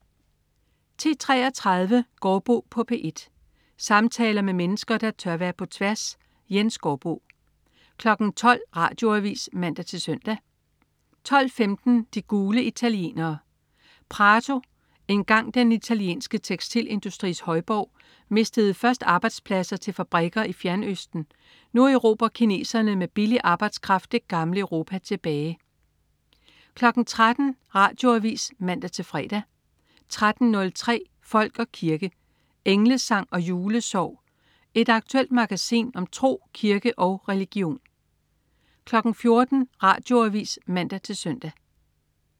10.33 Gaardbo på P1. Samtaler med mennesker, der tør være på tværs. Jens Gaardbo 12.00 Radioavis (man-søn) 12.15 De gule italienere. Prato, engang den italienske tekstilindustris højborg, mistede først arbejdspladser til fabrikker i Fjernøsten, nu erobrer kineserne med billig arbejdskraft det gamle Europa 13.00 Radioavis (man-fre) 13.03 Folk og kirke. Englesang og julesorg. Et aktuelt magasin om tro, kirke og religion 14.00 Radioavis (man-søn)